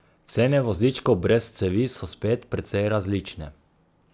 Cene vozičkov brez cevi so spet precej različne.